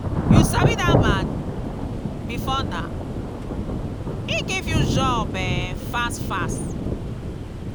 you sabi dat man before now? he give you job um fast fast.